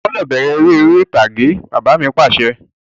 O gbọ́dọ̀ bẹ̀rẹ̀ ère ìtàgé! Bàbá mi Pàṣẹ.